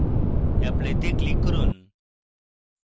apply তে click করুন